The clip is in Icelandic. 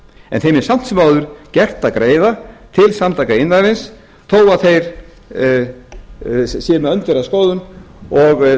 en þeim er samt sem áður gert að greiða til samtaka iðnaðarins þó að þeir séu með öndverða skoðun og